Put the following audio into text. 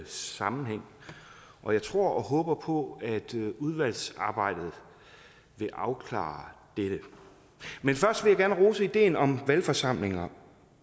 sammenhæng og jeg tror og håber på at udvalgsarbejdet vil afklare dette men først vil jeg gerne rose ideen om valgforsamlinger